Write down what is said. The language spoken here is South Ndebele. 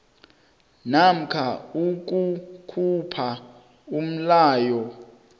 namkha ukukhupha umlayo